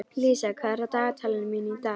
Lísa, hvað er á dagatalinu mínu í dag?